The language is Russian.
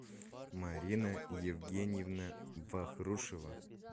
марина евгеньевна вахрушева